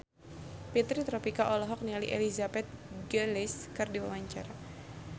Fitri Tropika olohok ningali Elizabeth Gillies keur diwawancara